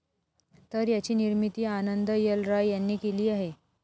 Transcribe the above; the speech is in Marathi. तर याची निर्मिती आनंद एल राय यांनी केली आहे.